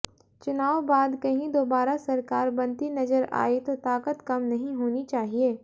चुनाव बाद कहीं दोबारा सरकार बनती नजर आई तो ताकत कम नहीं होनी चाहिये